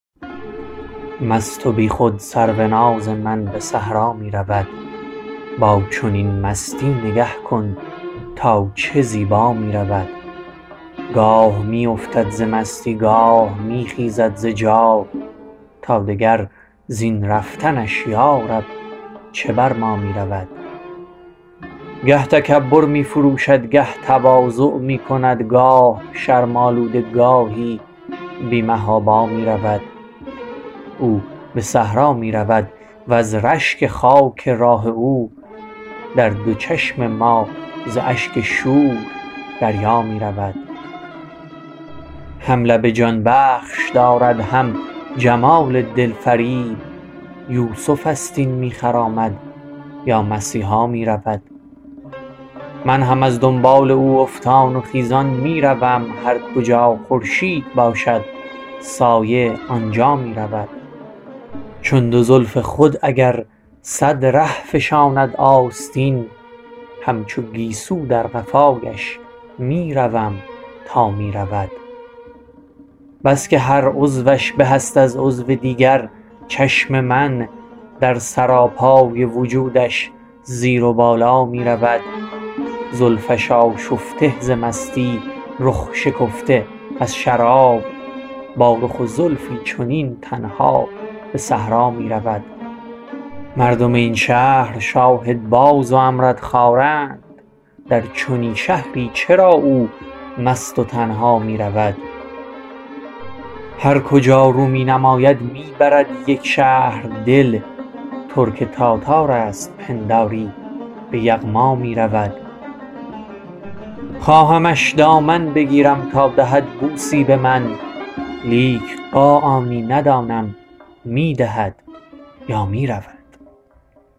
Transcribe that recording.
مست و بیخود سروناز من به صحرا می رود با چنین مستی نگه کن تا چه زیبا می رود گاه می افتد ز مستی گاه می خیزد ز جا تا دگر زین رفتنش یارب چه بر ما می رود گه تکبر می فروشد گه تواضع می کند گاه شرم آلوده گاهی بی محابا می رود او به صحرا می رود وز رشک خاک راه او در دو چشم ما ز اشک شور دریا می رود هم لب جانبخش دارد هم جمال دلفریب یوسف است این می خرامد یا مسیحا می رود من هم از دنبال او افتان و خیزان می روم هرکجا خورشید باشد سایه آن جا می رود چون دو زلف خود اگر صد ره فشاند آستین همچو گیسو از قفایش می روم تا می رود بس که هر عضوش به است از عضو دیگر چشم من در سراپای وجودش زیر و بالا می رود زلفش آشفته ز مستی رخ شکفته از شراب با رخ و زلفی چنین تنها به صحرا می رود مردم این شهر شاهدباز و امردخواره اند در چنین شهری چرا او مست و تنها می رود هرکجا رو می نماید می برد یک شهر دل ترک تاتارست پنداری به یغما می رود خواهمش دامن بگیرم تا دهد بوسی به من لیک قاآنی ندانم می دهد یا می رود